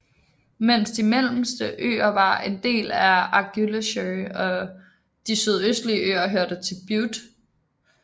Mens de mellemste øer var en del af Argyllshire og de sydøstlige øer hørte til Bute